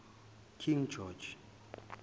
king george